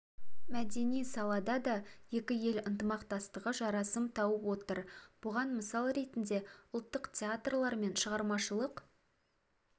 мәдени салада да екі ел ынтымақтастығы жарасым тауып отыр бұған мысал ретінде ұлттық театрлар мен шығармашылық